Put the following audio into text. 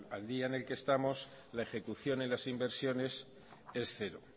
al día en el que estamos la ejecución en las inversiones es cero